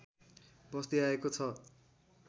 बस्दै आएको छ